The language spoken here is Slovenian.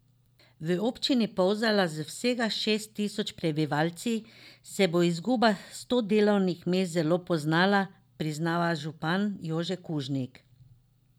V občini Polzela z vsega šest tisoč prebivalci se bo izguba sto delovnih mest zelo poznala, priznava župan Jože Kužnik.